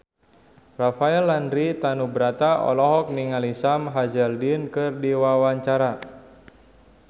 Rafael Landry Tanubrata olohok ningali Sam Hazeldine keur diwawancara